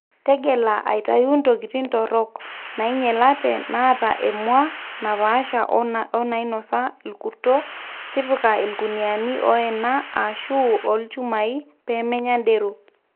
tegela aitayu ntokitin torok, nainyelate, naata emua napaasha o nainosa olkurto, tipika ilkuniani oena ashu loolchumai pemenya derok o